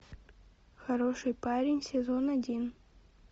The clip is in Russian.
хороший парень сезон один